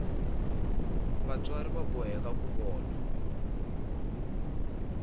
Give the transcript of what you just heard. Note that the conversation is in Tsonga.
vatswari va boheka ku vona